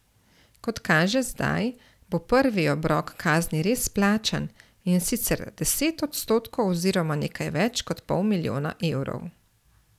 Kot kaže zdaj, bo prvi obrok kazni res plačan, in sicer deset odstotkov oziroma nekaj več kot pol milijona evrov.